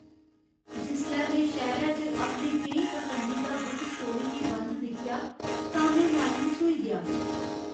जिसलै में शैह्‌रे च अपने केईं पसंदीदा बुक स्टोरें गी बंद दिक्खेआ तां में मायूस होई गेआ।